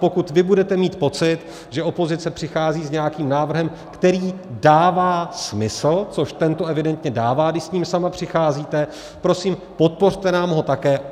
Pokud vy budete mít pocit, že opozice přichází s nějakým návrhem, který dává smysl, což tento evidentně dává, když s ním sama přicházíte, prosím, podpořte nám ho také.